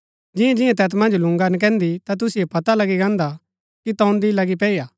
जियां जियां तैत मन्ज लून्गा नकैन्दी ता तुसिओ पता लगी गान्दा कि तोन्दी लगी पैई हा